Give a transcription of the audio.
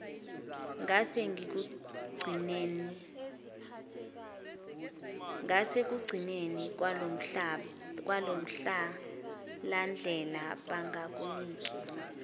ngasekugcineni kwalomhlahlandlela bangakunika